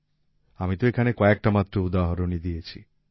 আমি তো এখানে কয়েকটা মাত্র উদাহরণই দিয়েছি